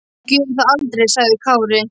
Þú gerir það aldrei, sagði Kári.